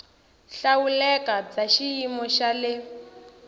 hlawuleka bya xiyimo xa le